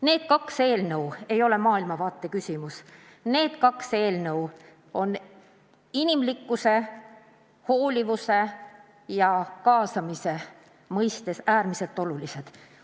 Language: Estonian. Need kaks eelnõu ei ole maailmavaate küsimus, need kaks eelnõu on inimlikkuse, hoolivuse ja kaasamise mõistes äärmiselt olulised.